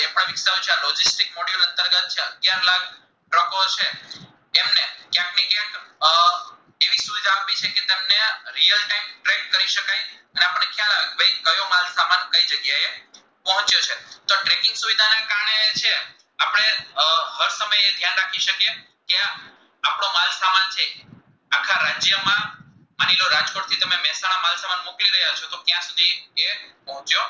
પહોચ્યો